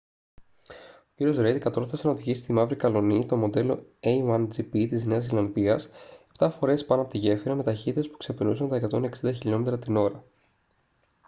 ο κ ρέιντ κατόρθωσε να οδηγήσει τη μαύρη καλλονή το μοντέλο a1gp της νέας ζηλανδίας επτά φορές πάνω από τη γέφυρα με ταχύτητες που ξεπερνούσαν τα 160 χιλιόμετρα την ώρα